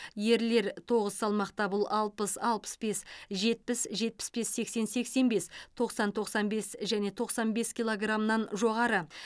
ерлер тоғыз салмақта бұл алпыс алпыс бес жетпіс жетпіс бес сексен сексен бес тоқсан тоқсан бес және тоқсан бес килограмнан жоғары